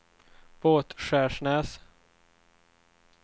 Båtskärsnäs